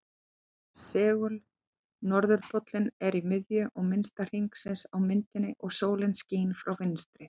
Segul-norðurpóllinn er í miðju minnsta hringsins á myndinni og sólin skín frá vinstri.